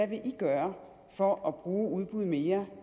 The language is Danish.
vil i gøre for at bruge udbud mere